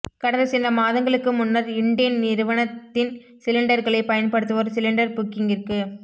கடந்த சில மாதங்களுக்கு முன்னர் இண்டேன் நிறுவனத்தின்சிலிண்டர்களை பயன்படுத்துவோர் சிலிண்டர் புக்கிங்கிற்கு